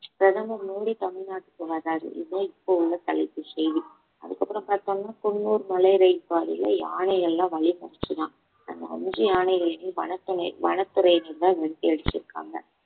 பிரதமர் மோடி தமிழ்நாட்டுக்கு வர்றாரு இதுதான் இப்ப உள்ள தலைப்பு செய்தி அதுக்கு அப்புறம் பாத்தோம்னா குன்னூர் மலை ரயில் பாதையில யானை எல்லாம் வழிமறச்சுதாம் அந்த அஞ்சு யானைகளையும் வனத்துணை~ வனத்துறையினர்தான் விரட்டி அடிச்சிருக்காங்க